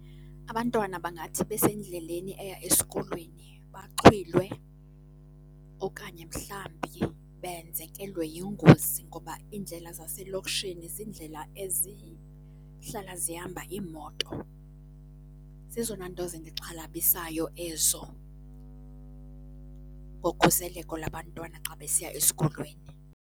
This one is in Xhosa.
Abantwana bangathi besendleleni eya esikolweni baxhwilwe okanye mhlambi benzekelwe yingozi ngoba iindlela zaselokishini ziindlela ezihlala zihamba iimoto. Zezona nto zindixhalabisayo ezo ngokhuseleko labantwana xa besiya esikolweni.